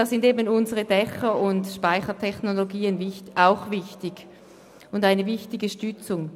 Dafür sind unsere Dächer und Speichertechnologien wichtige Stützen.